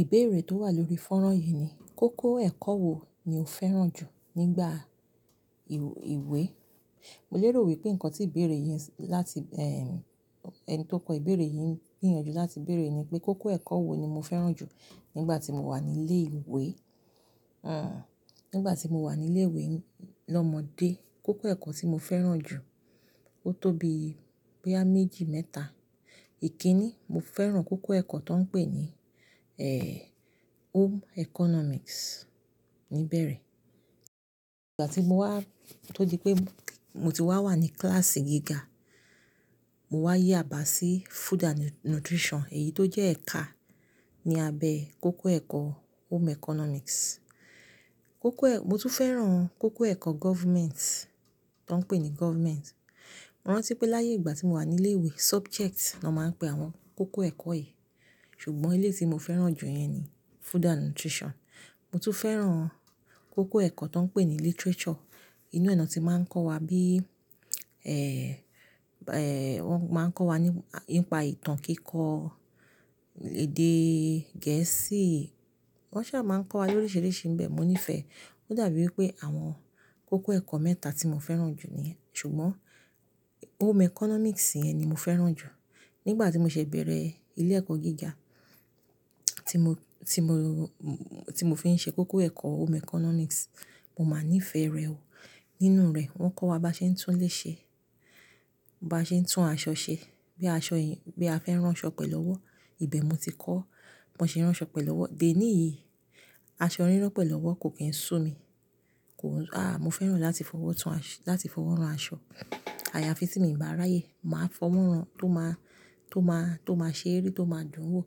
Ìbéèrè tó wà lórí fọ́nran yìí ni, kókó ẹ̀kọ́ wo ni o fẹ́ràn jù nígbà ìwé? Mo lérò wípé ǹkan tí ìbéèrè yìí ń láti, ẹ́, ẹni tó kọ ìbéèrè yìí ń gbìyànjú láti béèrè ni pé kókó ẹ̀kọ́ wo ni mo fẹ́ràn jù nígbà tí mo wà ní ilé ìwé. Hmm, nígbà tí mo wà ní ilé ìwé lọ́mọdé, kókó ẹ̀kọ́ tí mo fẹ́ràn jù ó tóbi pé boya méjì mẹ́ta. Ìkíni, mo fẹ́ràn kókó ẹ̀kọ́ tan ń pè ní, ẹ́ẹ́, Home Economics níbẹ̀ rẹ. Nígbà tí mo wá tó di pé mo ti wà wà ní kíláàsì gíga, mo wá yà bá sí Food and Nutrition, èyí tó jẹ́ ẹ̀ka ní abẹ kókó ẹ̀kọ́ Home Economics. Kókó ẹ̀-- mo tún fẹ́ràn kókó ẹ̀kọ́ Government, tan ń pè ní Government. Mo rántí pé láyé ìgbà tí mo wà ní ilé ìwé, subject ni wón máa ń pè àwọn kókó ẹ̀kọ́ yìí. Ṣùgbọ́n ilé tí mo fẹ́ràn jù yẹn ni Food and Nutrition. Mo tún fẹ́ràn kókó ẹ̀kọ́ tan ń pè ní Literature. Inú ẹ̀ nà tí máa ń kọ́ wa bí, ẹ́ẹ́, wón máa ń kọ́ wa nípa ìtàn kíkọ, èdè Gẹ̀ẹ́sì. Wọ́n ṣà máa ń kọ́ wa lóríṣiríṣi ńbẹ. Mo nífẹ̀ẹ́. Ó dàbí wípé àwọn kókó ẹ̀kọ́ mẹ́ta tí mo fẹ́ràn jù níì. Ṣùgbọ́n Home Economics yẹn ni mo fẹ́ràn jù. Nígbà tí mo ṣẹ̀ bẹ̀rẹ̀ ilé ẹ̀kọ́ gíga tí mo, tí mo, tí mo fi ń ṣe kókó ẹ̀kọ́ Home Economics, mo máa nífẹ̀ e rẹ̀ o. Nínú rẹ̀, wón kọ́ wa bá ṣe ń tún ilé ṣe, bá ṣe ń tún aṣọ ṣe. Bí aṣọ yìí, bí a fẹ́ rán aṣọ pẹ̀lọ́wọ́, ìbẹ̀ mo ti kọ́. Bí wón ṣe ń rán aṣọ pẹ̀lọ́wọ́. Bẹ́ẹ̀ ni, aṣọ rírán pẹ̀lọ́wọ́ kò kí ń sú mi. Kò, à, mo fẹ́ràn láti fọwọ́ tun aṣọ, láti fọwọ́ rán aṣọ. Àyà à fi ti mi bá ráyè, màá fọwọ́ rán tó máa, tó máa, tó máa ṣe eré, tó máa dùn wò.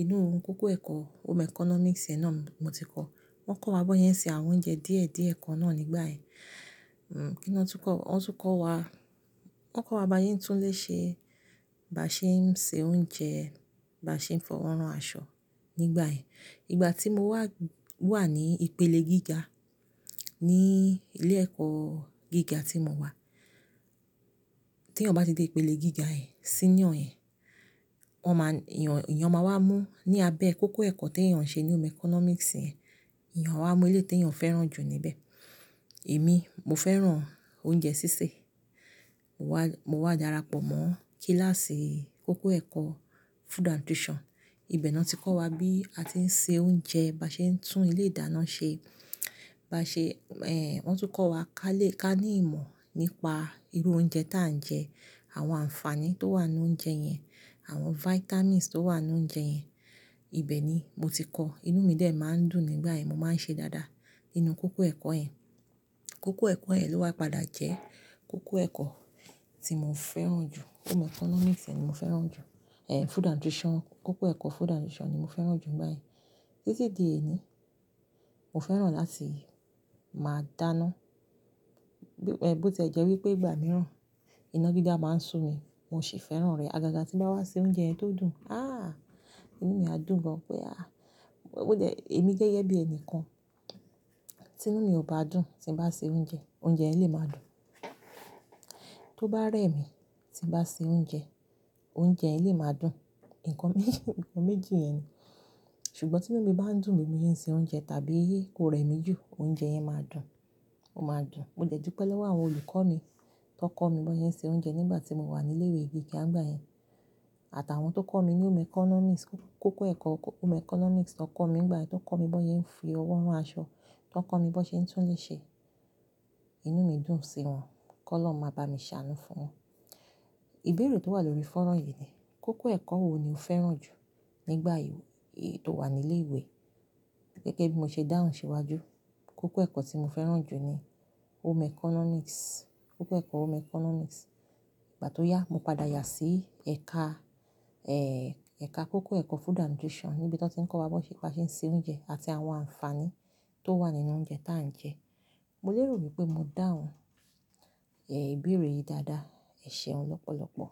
Inú kókó ẹ̀kọ́ Home Economics náà mo ti kọ́. Wọ́n kọ́ wa bi won se ń ṣe àwọn oúnjẹ díẹ̀díẹ̀ kan náà nígbà yẹ́n. Hmm, kí ni wọ́n tún kọ́ wa? Wọ́n tún kọ́ wa, wọ́n kọ́ wa bá sé ń tún ilé ṣe, bá ṣe ń sè oúnjẹ, bá ṣe ń fọwọ́ rán aṣọ nígbà yẹ́n. Ìgbà tí mo wà, wà ní ìpele gíga ní ilé ẹ̀kọ́ gíga tí mo wà. Tí èèyàn bá dé ìpele gíga yẹ́n, síniò yẹ́n, wọ́n máa, èèyàn, èèyàn máa wá mú ní abẹ kókó ẹ̀kọ́ tí èèyàn ń ṣe ní Home Economics yẹn. Ẹ̀èyàn a wá mú eléyí tèèyàn fẹ́ràn jù níbẹ̀. Èmi, mo fẹ́ràn oúnjẹ sísè. Mo wá, mo wá darapọ̀ mọ́ kíláàsì kókó ẹ̀kọ́ Food and Nutrition. Ìbẹ̀ náà ti kọ́ wa bí a ti ń sè oúnjẹ, bá ṣe ń tún ilé ìdáná ṣe, bá ṣe, ẹ́ẹ́, wọ́n tún kọ́ wa ká lè ká ní ìmọ̀ nípa irú oúnjẹ tí à ń jẹ, àwọn ànfàní tó wà nínú oúnjẹ yẹn, àwọn vitamins tó wà nínú oúnjẹ yẹn. Ìbẹ̀ ni mo ti kọ́. Inú mi dè máa ń dùn nígbà yẹ́n. Mo máa ń ṣe dáadáa nínú kókó ẹ̀kọ́ ẹ́. Kókó ẹ̀kọ́ yẹ́n ló wa padà jẹ́ kókó ẹ̀kọ́ tí mo fẹ́ràn jù. Home Economics ni mo fẹ́ràn jù. Ẹ̀ẹ́, Food and Nutrition (Ounje ati Isaraloore. Kókó ẹ̀kọ́ Food and Nutrition ni mo fẹ́ràn jù nígbà ẹ́n. Títí di èni. Mo fẹ́ràn láti máa dáná. Eh, bí ó ti jẹ́ wípé ìgbà mìíràn iná dída máa ń sú mi, mo sì fẹ́ràn rẹ̀. Agaga tí n bá wá ṣe oúnjẹ yẹn tó dùn, ah! Inú mi á dùn gan. Pé ah! Ó jẹ́ èmi gẹ́gẹ́ bí ẹni kan, tinú mi ò bá dùn tí n bá sè oúnjẹ, oúnjẹ yẹ́n lé máa dùn. Tó bá rẹ̀ mi tí n bá sè oúnjẹ, oúnjẹ yẹ́n lé máa dùn. Ìtàn méjì, ìtàn méjì yẹn ni. Ṣùgbọ́n tí inú mi bá ń dùn ni nígbà tí mo ṣe oúnjẹ tàbí kó rẹ̀ mí jù, oúnjẹ yẹn máa dùn. Ó máa dùn. Mo dupẹ lọwọ́ àwọn olùkọ́ mi tan kọ́ mi b'ọn ṣe se oúnjẹ nígbà tí mo wà ní ilé ìwé gíga nígbà yẹn, àtàwọn tó kọ́ mi ní Home Economics, kókó ẹ̀kọ́ Home Economics tó kọ́ mi nígbà yẹn, tán kọ́ mi b'ọn ṣe ń fi ọwọ́ rán aṣọ, táń kọ́ mi b'ọn ṣe tún ilé ṣe. Inú mi dùn sí wọn. K'Ọlọhun máa bá mi ṣàánú fún wọn. Ìbéèrè tó wà lórí fọ́nrán yìí ni, kókó ẹ̀kọ́ wo ni o fẹ́ràn jù nígbà ìwé tó wà ní ilé ìwé? Gẹ́gẹ́ bí mo ṣe dáhùn síwájú, kókó ẹ̀kọ́ tí mo fẹ́ràn jù ni Home Economics. Kókó ẹ̀kọ́ Home Economics. Ìgbà tó yá, mo padà yà sí ẹ̀ka, ẹ́ẹ́, ẹ̀ka kókó ẹ̀kọ́ Food and Nutrition níbi tó tán ti n kọ́ wa ba ṣe ń sè oúnjẹ àti àwọn ànfàní tó wà nínú oúnjẹ tí à ń jẹ. Mo lérò wípé mo dáhùn, ẹ́ẹ́, ìbéèrè yìí dáadáa. Ẹ ṣeun lọ́pọ̀lọ́pọ̀.